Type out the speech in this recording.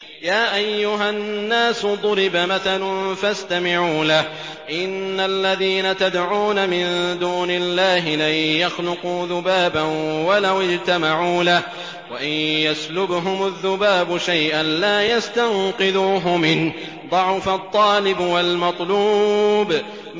يَا أَيُّهَا النَّاسُ ضُرِبَ مَثَلٌ فَاسْتَمِعُوا لَهُ ۚ إِنَّ الَّذِينَ تَدْعُونَ مِن دُونِ اللَّهِ لَن يَخْلُقُوا ذُبَابًا وَلَوِ اجْتَمَعُوا لَهُ ۖ وَإِن يَسْلُبْهُمُ الذُّبَابُ شَيْئًا لَّا يَسْتَنقِذُوهُ مِنْهُ ۚ ضَعُفَ الطَّالِبُ وَالْمَطْلُوبُ